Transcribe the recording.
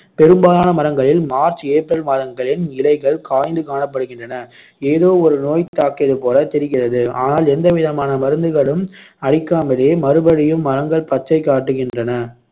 பெரும்பாலான மரங்களில் March, April மாதங்களில் இலைகள் காய்ந்து காணப்படுகின்றன ஏதோ ஒரு நோய் தாக்கியது போல தெரிகிறது ஆனால் எந்தவிதமான மருந்துகளும் அடிக்காமலே மறுபடியும் மரங்கள் பச்சைக் காட்டுகின்றன